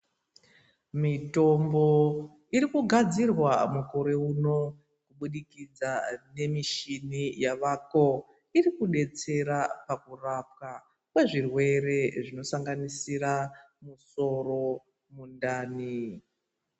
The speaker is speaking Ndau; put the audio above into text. Mitombo irikugadzirwa mukore uno kubudikidza nemichini yavako irikudetsera pakurapwa kwezvirwere zvinosanganisira musoro , mundani.